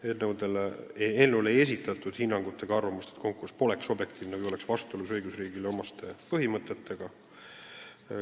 Eelnõu kohta ei esitatud arvamust, et konkurss pole objektiivne või on vastuolus õigusriigile omaste põhimõtetega.